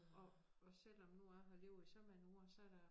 Og og selvom nu jeg har levet i så mange år så der